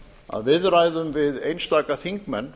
að viðræðum við einstaka þingmenn